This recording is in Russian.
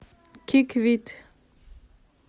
киквит